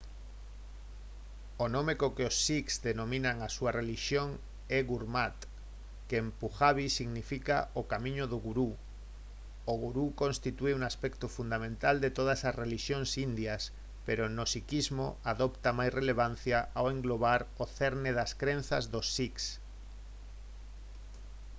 o nome co que os sikhs denominan a súa relixión é gurmat que en pujabi significa «o camiño do gurú». o gurú constitúe un aspecto fundamental de todas as relixións indias pero no sikhismo adopta máis relevancia ao englobar o cerne das crenzas dos sikhs